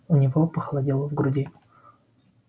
у него похолодело в груди